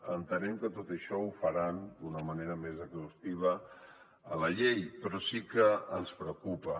entenem que tot això ho faran d’una manera més exhaustiva a la llei però sí que ens preocupa